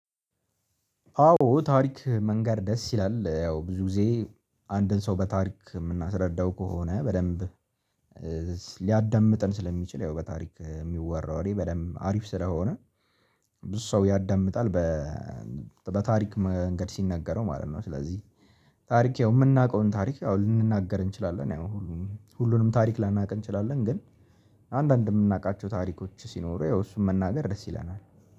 አዎ ታሪክ መንገር ደስ ይላል ያው ብዙ ጊዜ አንድን ሰው በታሪክ የምናስረዳው ከሆነ በደንብ ሊያዳምጥን ስለሚችል ያው በታሪክ የሚወራው ወሬ በደንብ አሪፍ ስለሆነ ብዙ ሰው ያዳምጣል። በታሪክ መንገድ ሲነገረው ማለት ነው። ስለዚህ ያው የምናውቀውን ታሪክ አሁን ልንናገር እንችላለን። ያው ሁሉንም ታሪክ ላናውቅ እንችላለን ግን አንዳንድ የምናውቃቸው ታሪኮች ሲኖሩ ያው እሱን መናገር ደስ ይለናል